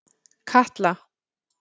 Katla